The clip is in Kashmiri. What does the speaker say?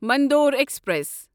مندور ایکسپریس